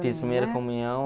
Fiz primeira comunhão